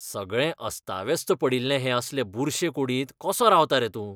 सगळें अस्ताव्यस्त पडिल्ले हे असले बुरशे कुडींत कसो रावता रे तूं?